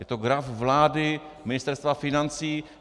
Je to graf vlády, Ministerstva financí.